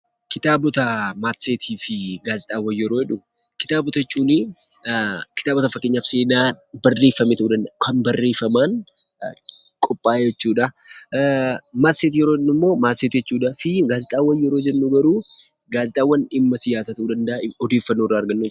Kitaabota matseetii fi gaazexaawwan yeroo jedhu, kitaabota jechuun kitaaba fakkeenyaaf seenaa barreeffame ta'uu danda'a, kan barreeffamaan qophaa'e jechuudha. Matseetii yeroo jennu immoo matseetii jechuudhaa fi gaazexaawwan yeroo jennu garuu gaazexaawwan dhimma siyaasaa ta'uu danda'a, odeeffannoo argannu jechuudha.